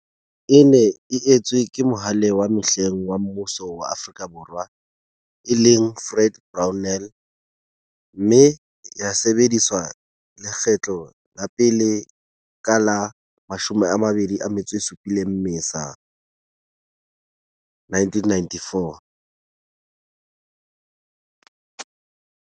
E ne e etswe ke Mohale wa mehleng wa mmuso wa Afrika Borwa, e leng, Fred Brownell, mme ya sebediswa lekgetlo la pele ka la 27 Mmesa 1994.